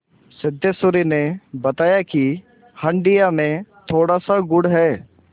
सिद्धेश्वरी ने बताया कि हंडिया में थोड़ासा गुड़ है